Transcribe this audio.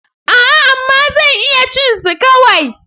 A'a! amma zan iya cin su kawai.